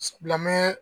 Bilamɛn